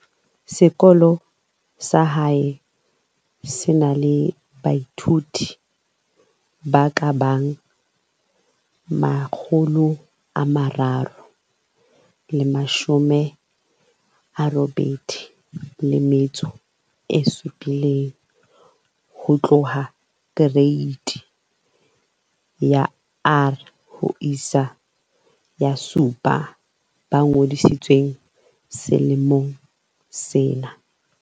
Sekolo sa hae se na le baithuti ba ka bang 387 ho tloha Kereiti ya R ho isa 7 ba ngodisitsweng selemong sena.